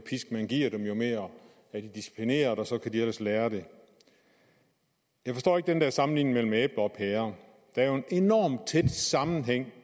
pisk man giver dem jo mere er de disciplineret og så kan de ellers lære det jeg forstår ikke den der sammenligning mellem æbler og pærer der er jo en enormt tæt sammenhæng